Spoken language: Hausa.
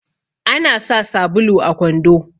ana sa sabulu a kwando